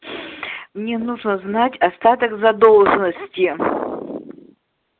мне нужно узнать остаток задолженности